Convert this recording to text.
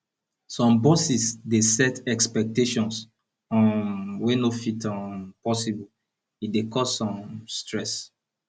some bosses dey set expectations um wey no fit um possible e dey cause um stress